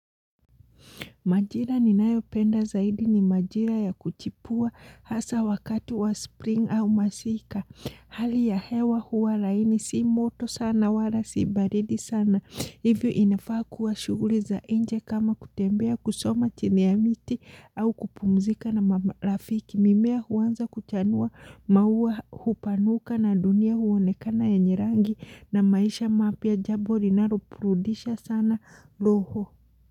Majira ninayopenda zaidi ni majira ya kuchipua hasa wakati wa spring au masika. Hali ya hewa huwa laini si moto sana wala si baridi sana. Hivyo inafaa kuwa shuguli za nje kama kutembea kusoma chini ya miti au kupumzika na marafiki. Mimea huanza kuchanua maua hupanuka na dunia huonekana yenye rangi na maisha mapya jabo rinaroburudisha sana roho.